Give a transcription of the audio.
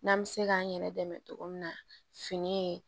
N'an bɛ se k'an yɛrɛ dɛmɛ cogo min na fini ye